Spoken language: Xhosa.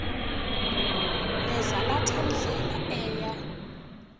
nezalatha ndlela eya